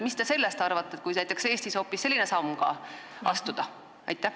Mis te sellest arvate, kui näiteks Eestis hoopis selline samm astuda?